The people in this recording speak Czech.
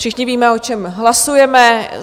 Všichni víme, o čem hlasujeme.